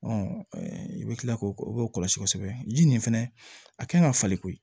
i bɛ kila k'o o kɔlɔsi kosɛbɛ ji nin fɛnɛ a kan ka falen koyi